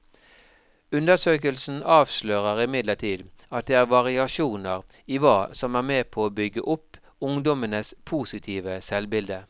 Undersøkelsen avslører imidlertid at det er variasjoner i hva som er med på å bygge opp ungdommenes positive selvbilde.